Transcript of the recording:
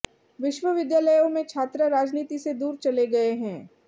विश्वविद्यालयों में छात्र राजनीति से दूर चले गए हैं